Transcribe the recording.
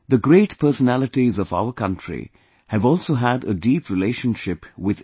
The great personalities of our country have also had a deep relationship with education